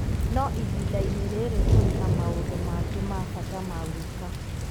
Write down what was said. no ihinda-inĩ rĩrĩ tũrĩ na maũndũ mangĩ ma bata ma gwĩka.